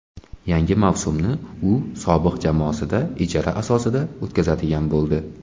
Yangi mavsumni u sobiq jamoasida ijara asosida o‘tkazadigan bo‘ldi.